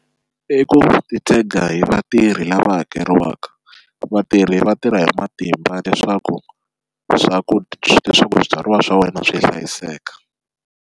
I ku titshega hi vatirhi lava hakeriwaka vatirhi va tirha hi matimba leswaku leswaku swa ku swibyariwa swa wena swi hlayiseka.